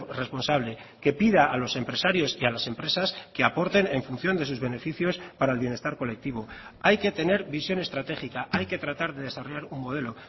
responsable que pida a los empresarios y a las empresas que aporten en función de sus beneficios para el bienestar colectivo hay que tener visión estratégica hay que tratar de desarrollar un modelo